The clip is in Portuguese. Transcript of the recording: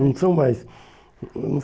Não são mais hum hum